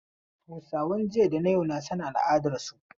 Hausawan jiya da na yau na son al'adarsu.